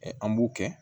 An b'u kɛ